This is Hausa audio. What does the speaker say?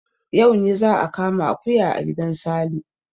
Yau ne za a kama akuya a gidan Sale.